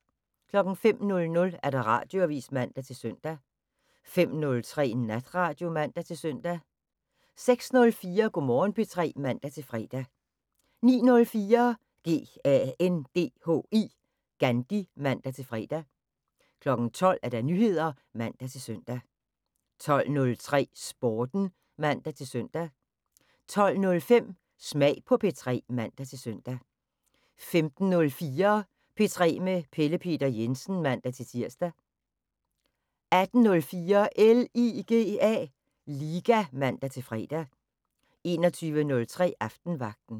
05:00: Radioavis (man-søn) 05:03: Natradio (man-søn) 06:04: Go' Morgen P3 (man-fre) 09:04: GANDHI (man-fre) 12:00: Nyheder (man-søn) 12:03: Sporten (man-søn) 12:05: Smag på P3 (man-søn) 15:04: P3 med Pelle Peter Jensen (man-tir) 18:04: LIGA (man-fre) 21:03: Aftenvagten